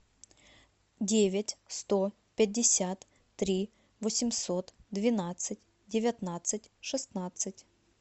девять сто пятьдесят три восемьсот двенадцать девятнадцать шестнадцать